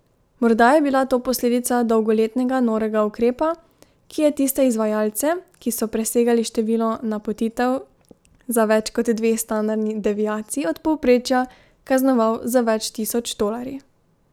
Morda je bila to posledica dolgoletnega norega ukrepa, ki je tiste izvajalce, ki so presegali število napotitev za več kot dve standardni deviaciji od povprečja, kaznoval z več tisoč tolarji.